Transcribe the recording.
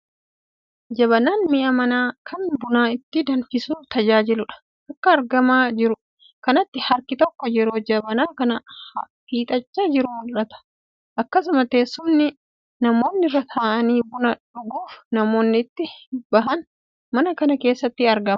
Jabanaan mi'a manaa kan buna itti danfisuuf tajaajiluudha. Akka argamaa jiru kanatti harki tokko yeroo Jabanaa kana hiixachaa jiru mul'ata. Akkasumas teessumni namoonni irra taa'anii buna dhuguuf dhimma itti bahan mana kana keessatti argama.